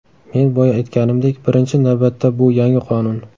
Men boya aytganimdek, birinchi navbatda bu yangi qonun.